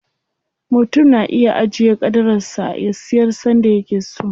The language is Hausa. Mutum na iya ajiye ƙadarar sa, ya siyar sanda yake so.